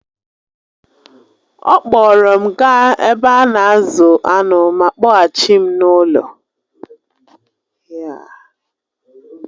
She took me to the Ranch and then took me back home